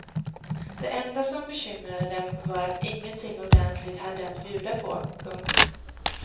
Det enda som bekymrade dem var att de ingenting ordentligt hade att bjuda på. punkt